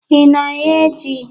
Ị na-eghe ji?